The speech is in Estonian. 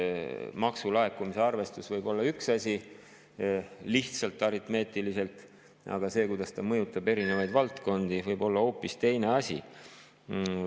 Maksulaekumise arvestus võib olla lihtsalt üks asi, aritmeetiline, aga see, kuidas ta mõjutab erinevaid valdkondi, võib olla hoopis teine asi.